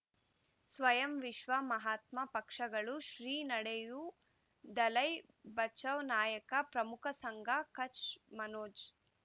ಸ್ವಯಂ ವಿಶ್ವ ಮಹಾತ್ಮ ಪಕ್ಷಗಳು ಶ್ರೀ ನಡೆಯೂ ದಲೈ ಬಚೌ ನಾಯಕ ಪ್ರಮುಖ ಸಂಘ ಕಚ್ ಮನೋಜ್